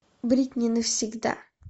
бритни навсегда